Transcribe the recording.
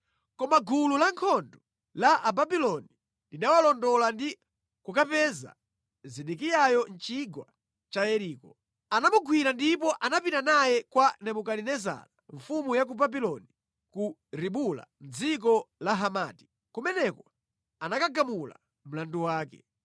Koma gulu la ankhondo la ku Babuloni linalondola ndi kumupeza Zedekiyayo mʼchigwa cha ku Yeriko. Anamugwira napita naye kwa Nebukadinezara mfumu ya ku Babuloni ku Ribula mʼdziko la Hamati kumene anagamula mlandu wake.